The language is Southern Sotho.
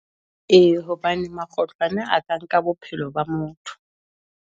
E, hobane makgotlwane a ka nka bophelo ba motho.